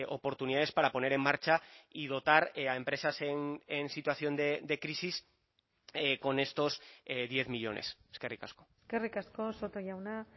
oportunidades para poner en marcha y dotar a empresas en situación de crisis con estos diez millónes eskerrik asko eskerrik asko soto jauna